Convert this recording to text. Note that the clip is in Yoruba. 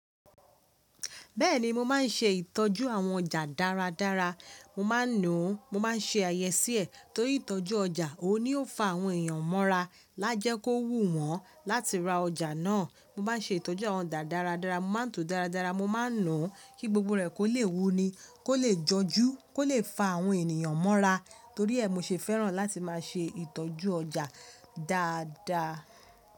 Bẹ́ẹ̀ni mo máa ń ṣe ìtọ́jú àwọn ọjà dáradára, mo máa ń nùú, mo máa ń ṣe àyẹ́sí ẹ̀ torí ìtọ́jú ọjà òun ni ó fa àwọn èèyàn mọ́ra lájẹ́ kó wù wọ́n láti ra ọjà náà. Mo bá ṣe ìtọ́jú àwọn ọjà dáradára, mo máa ń tún dáradára, mo máa ń nùú kí gbogbo rẹ̀ kó lè wú ni, kó lè jọjú, kó lè fa àwọn ènìyàn mọ́ra. Torí ẹ mi ṣe fẹ́ràn láti máa ṣe ìtọ́jú ọjà dáada.